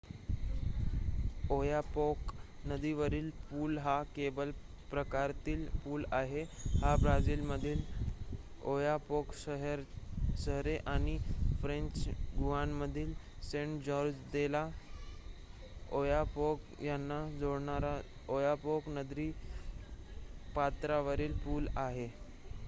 Oyapock नदीवरील पूल हा केबल प्रकारातील पूल आहे हा ब्राझीलमधील ओयापोक शहरे आणि फ्रेंच गुआनामधील सेंट-जॉर्ज दे ला'ओयापोक यांना जोडणारा ओयापोक नदीपात्रावरील पूल आहे